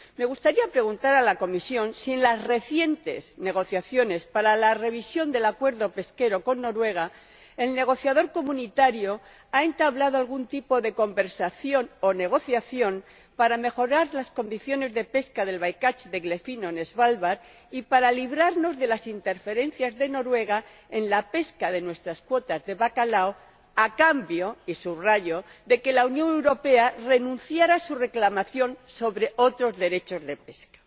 Me gustaría preguntar a la Comisión si en las recientes negociaciones para la revisión del acuerdo pesquero con Noruega, el negociador comunitario ha entablado algún tipo de conversación o negociación para mejorar las condiciones de pesca del by catch de eglefino en Svalbard y para librarnos de las interferencias de Noruega en la pesca de nuestras cuotas de bacalao a cambio —y subrayo— de que la Unión Europea renuncie a su reclamación sobre otros derechos de pesca.